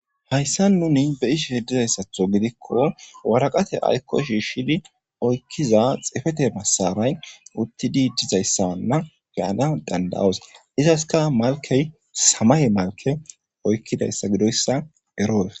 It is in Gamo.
Hayssan nuni be7ishin dizayssatho gidikko waraqate aykko shiishshidi oykkiza xefete masaray utti dizayssanna be7ana danda7os. Izaska malkey samaye malke oykkidayssa gidoyssa eroos.